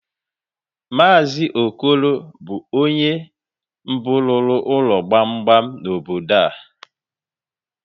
Mazi Okoro bụ ónyé mbụ rụrụ ụlọ gbamgbam n'obodo a.